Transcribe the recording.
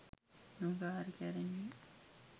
මෙම කාර්ය කැරෙන්නේ.